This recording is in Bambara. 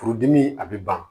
Furudimi a bɛ ban